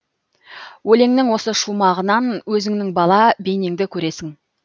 өлеңнің осы шумағынан өзіңнің бала бейнеңді көресің